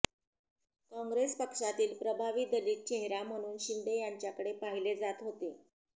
काँग्रेस पक्षातील प्रभावी दलित चेहरा म्हणून शिंदे यांच्याकडे पाहिले जात होते